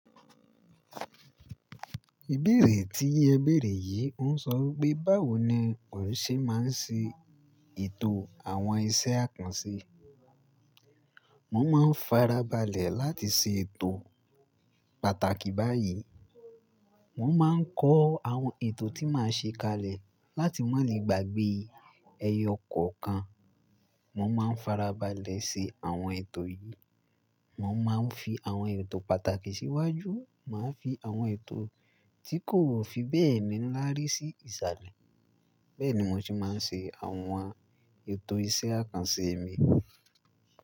Ìbéèrè tí ẹ béèrè yìí oń sọ wípé, báwo ni òṣẹ́ má ń ṣe ètò àwọn iṣẹ́ àkànṣe. Mo má ń farabalẹ̀ láti ṣe ètò pàtàkì báyìí. Mo má ń kọ àwọn ètò tí máa ṣe kalẹ̀ láti má lè gbàgbé ẹyẹ ọkọ̀ kan. Mo má ń farabalẹ̀ ṣe àwọn ètò yìí. Mo má ń fi àwọn ètò pàtàkì síwájú. Màá fi àwọn ètò tí kò fi bẹ́ẹ̀ ni láárí sí ìsàlẹ̀. Bẹ́ẹ̀ ni mo ṣe má ń ṣe àwọn ètò iṣẹ́ àkànṣe mi.